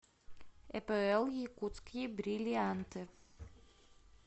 эпл якутские бриллианты